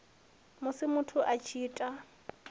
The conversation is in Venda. musi muthu a tshi ita